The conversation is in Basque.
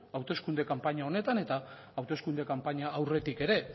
hauteskunde kanpaina honetan eta hauteskunde kanpaina aurretik ere